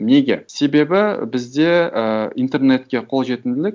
неге себебі бізде ыыы интернетке колжетімділік